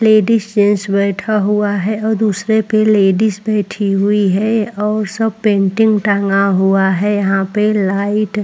ladies gents बैठा हुआ है और दूसरे पर लेडिज बैठी हुई है और सब पेंटिंग टंगा हुआ है यहां पे लाइट --